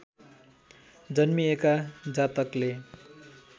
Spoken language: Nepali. जन्मिएका जातकले